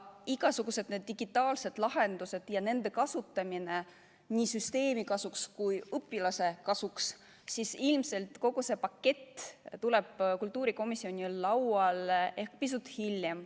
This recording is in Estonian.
Igasugused digitaalsed lahendused ja nende kasutamine nii süsteemi seisukohalt kui ka õpilase seisukohal – ilmselt kogu see pakett tuleb kultuurikomisjoni lauale ehk pisut hiljem.